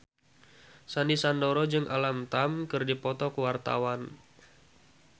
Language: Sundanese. Sandy Sandoro jeung Alam Tam keur dipoto ku wartawan